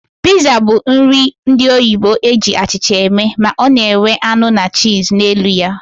Piza bụ nri ndị oyibo eji achịcha eme, ma ọ na enwe anụ na cheese na elu ya